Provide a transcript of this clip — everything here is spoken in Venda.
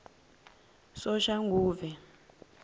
soshanguve